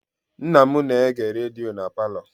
Nna m na-ege redio na palọ.